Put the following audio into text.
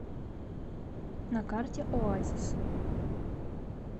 на карте оазис